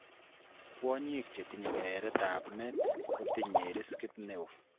Kwonyik chetinye kereret ab met kotinye riskit neoo